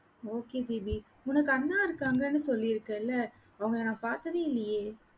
okay Deepi, உனக்கு அண்ணா இருக்காங்கன்னு சொல்லிருக்கேல, அவங்கள நான் பார்த்ததே இல்லையே